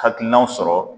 Hakilinaw sɔrɔ